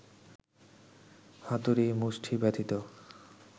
হাতুড়ি মুষ্টি ব্যতিত